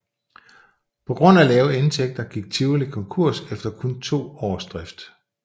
På grund af lave indtægter gik Tivoli konkurs efter kun to års drift